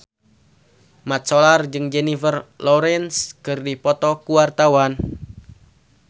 Mat Solar jeung Jennifer Lawrence keur dipoto ku wartawan